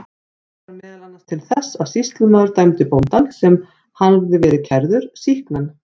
Þetta varð meðal annars til þess að sýslumaður dæmdi bóndann, sem hafði verið kærður, sýknan.